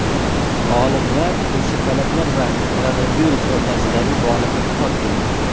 Olimlar ko‘rshapalaklar va koronavirus o‘rtasidagi bog‘liqlikni topdi.